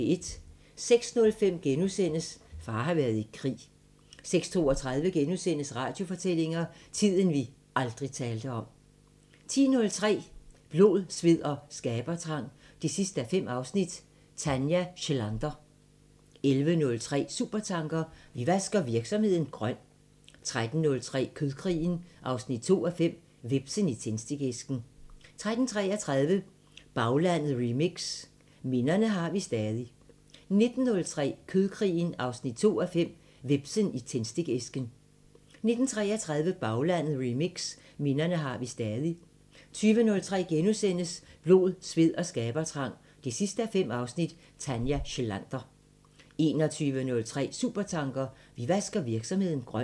06:05: Far har været i krig * 06:32: Radiofortællinger: Tiden vi aldrig talte om * 10:03: Blod, sved og skabertrang 5:5 – Tanja Schlander 11:03: Supertanker: Vi vasker virksomheden grøn 13:03: Kødkrigen 2:5 – Hvepsen i tændstikæsken 13:33: Baglandet Remix: Minderne har vi stadig 19:03: Kødkrigen 2:5 – Hvepsen i tændstikæsken 19:33: Baglandet Remix: Minderne har vi stadig 20:03: Blod, sved og skabertrang 5:5 – Tanja Schlander * 21:03: Supertanker: Vi vasker virksomheden grøn